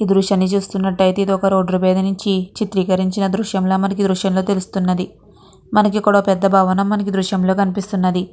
ఈ దృశ్యాన్ని చూస్తునట్టయితే ఇదొక రోడ్డు మీద నించి చిత్రీకరించిన దృశ్యం లా మనకి దృశ్యంలో చూస్తే తెలుస్తున్నది. మనకి ఇక్కడ ఓ పెద్ద భవనం మనకి ఈ దృశ్యం లో కనిపిస్తున్నది.